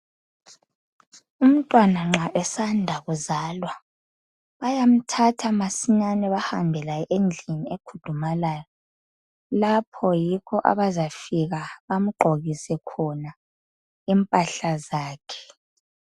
Umntwana nxa esanda kuzalwa bayamthatha masinyane bahambe laye endlini ekhudumalayo. Lapho yikho abazafika bamgqokise khona impahla zakhe.